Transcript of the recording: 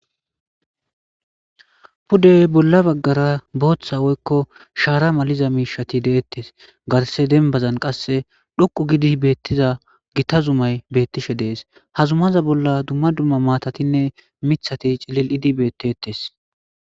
pudde bolla baggara booththa woykko shaara maliza miishati deettes garse denbazan qase dhoqu gidi beettiza gita zumay beettishe de7es ha zumaza bolla dumma dumma maatatinne mithati cililidi bettetes